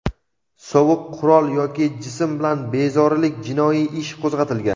sovuq qurol yoki jism bilan bezorilik) jinoiy ish qo‘zg‘atilgan.